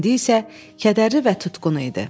İndi isə kədərli və tutqun idi.